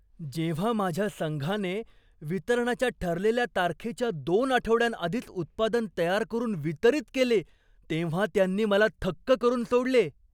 जेव्हा माझ्या संघाने वितरणाच्या ठरलेल्या तारखेच्या दोन आठवड्यांआधीच उत्पादन तयार करून वितरित केले तेव्हा त्यांनी मला थक्क करून सोडले.